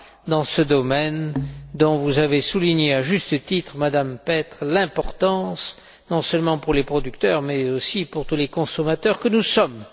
dans ce domaine, dont vous avez souligné à juste titre, Madame Petre, l'importance, non seulement pour les producteurs mais aussi pour tous les consommateurs que nous sommes.